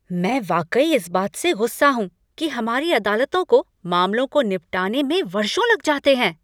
मैं वाकई में इस बात से गुस्सा हूँ कि हमारी अदालतों को मामलों को निपटाने में वर्षों लग जाते हैं।